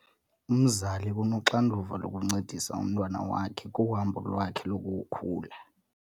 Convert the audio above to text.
Umzali unoxanduva lokuncedisa umntwana wakhe kuhambo lwakhe lokukhula.